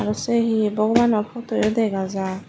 se hi bogobano putuyo dega jar.